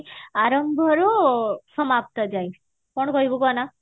ଆରମ୍ଭରୁ ସମାପ୍ତ ଯାଏ କଣ କହିବୁ କହ ନା